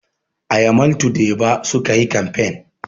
A yamaltu deba sukayi kamfain